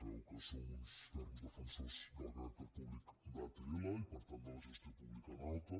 sabeu que som uns ferms defensors del caràcter públic d’atll i per tant de la gestió pública en alta